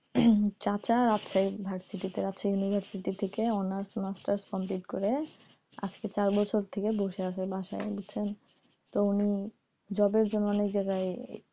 চাচার arts এ university থেকে honours masters complete করে আজকে চার বছর থেকে বসে আছে বাসায় আইসা তো উনি জবের জন্য অনেক জায়গায়,